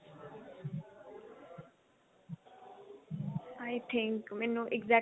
i think ਮੈਨੂੰ exact